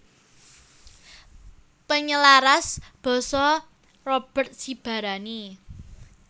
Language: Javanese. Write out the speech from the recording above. Penyelaras basa Robert Sibarani